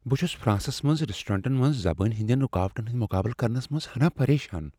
بہٕ چھس فرانسس منز ریسٹورینٹن منز زبٲنۍ ہندین رکاوٹن ہند مقابلہٕ کرنس منز ہناہ پریشان۔